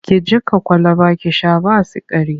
Ki jiƙa kwalaba ki sha ba sikari!